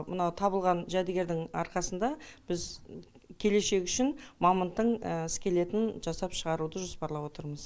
мына табылған жәдігердің арқасында біз келешек үшін мамонттың скелетін жасап шығаруды жоспарлап отырмыз